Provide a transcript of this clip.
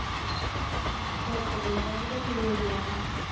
ஐந்நூத்தி எழுபது ரூபாதான்